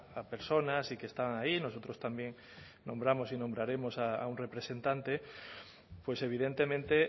a personas y que están ahí nosotros también nombramos y nombraremos a un representante pues evidentemente